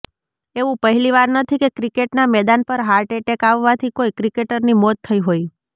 એવું પહેલીવાર નથી કે ક્રિકેટના મેદાન પર હાર્ટ એટેક આવવાથી કોઈ ક્રિકેટરની મોત થઈ હોય